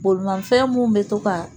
Bolimafɛn mun bɛ to ka